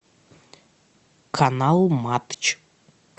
канал матч